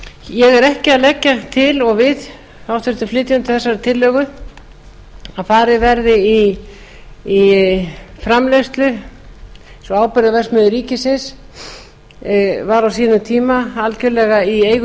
ég er ekki að leggja til og við háttvirtir flutningsmenn þessarar tillögu að farið verði í framleiðslu eins og áburðarverksmiðju ríkisins var á sínum tíma algerlega í eigu